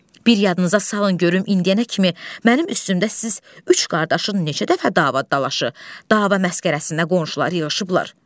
Bir yadınıza salın görün indiyənə kimi mənim üstümdə siz üç qardaşın neçə dəfə dava dalaşı, dava məskərəsinə qonşular yığışıblar.